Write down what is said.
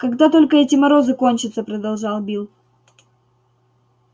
когда только эти морозы кончатся продолжал билл